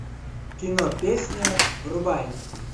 кино песня врубай